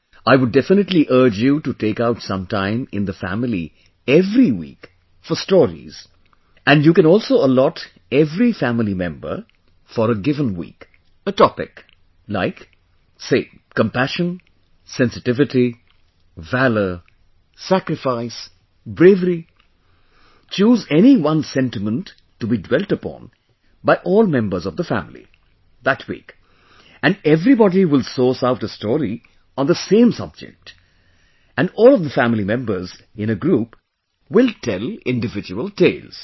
I would definitely urge you to take out sometime in the family every week for stories, and you can also allot every family member, for a given week, a topic, like, say compassion, sensitivity, valour, sacrifice, bravery choose any one sentiment to be dwelt upon by all members of the family, that week and everybody will source out a story on the same subject and all of the family members in a group will tell individual tales